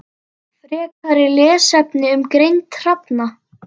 Frekari lesefni um greind hrafna